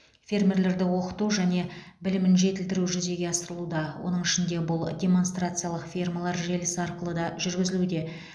фермерлерді оқыту және білімін жетілдіру жүзеге асырылуда оның ішінде бұл демонстрациялық фермалар желісі арқылы да жүргізілуде